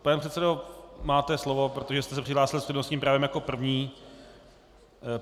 Pane předsedo, máte slovo, protože jste se přihlásil s přednostním právem jako první.